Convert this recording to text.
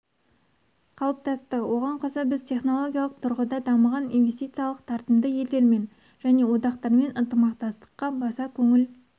қалыптасты оған қоса біз технологиялық тұрғыда дамыған инвестициялық тартымды елдермен және одақтармен ынтымақтастыққа баса көңіл